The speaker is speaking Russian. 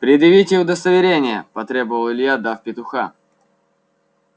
предъявите удостоверение потребовал илья дав петуха